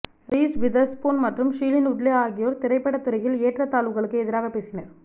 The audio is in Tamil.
ரீஸ் விதர்ஸ்பூன் மற்றும் ஷீலின் உட்லே ஆகியோர் திரைப்பட துறையில் ஏற்றத்தாழ்வுகளுக்கு எதிராக பேசினர்